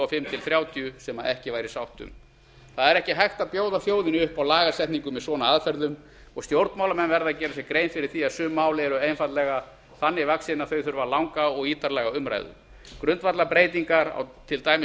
fimm til þrjátíu sem ekki væri sátt um það er ekki hægt að bjóða þjóðinni upp á lagasetningu með svona aðferðum og stjórnmálamenn verða að gera sér grein fyrir því að sum mál eru einfaldlega þannig vaxin að þau þurfa langa og ítarlega umræðu grundvallarbreytingar á til dæmis